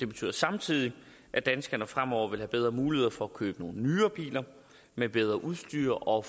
betyder samtidig at danskerne fremover vil have bedre muligheder for at købe nogle nyere biler med bedre udstyr og